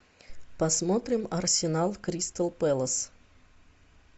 посмотрим арсенал кристал пэлас